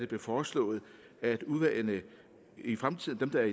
det foreslået at udvalgene i fremtiden bliver